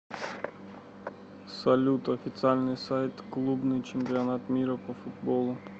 салют официальный сайт клубный чемпионат мира по футболу